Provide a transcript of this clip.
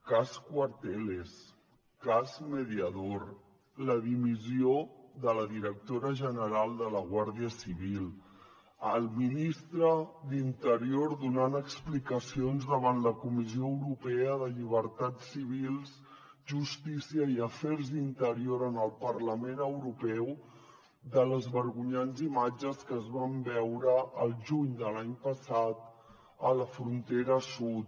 cas cuarteles cas mediador la dimissió de la directora general de la guàrdia civil el ministre d’interior donant explicacions davant la comissió europea de llibertats civils justícia i afers interiors en el parlament europeu de les vergonyants imatges que es van veure al juny de l’any passat a la frontera sud